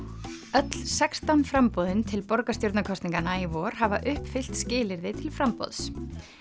öll sextán framboðin til borgarstjórnarkosninganna í vor hafa uppfyllt skilyrði til framboðs